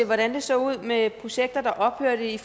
hvordan det så ud med projekter der ophørte i